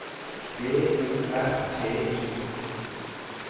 B O R T I